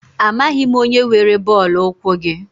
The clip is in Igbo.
Amaghị m onye were bọọlụ ụkwụ gị.